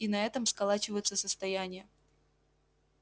и на этом сколачиваются состояния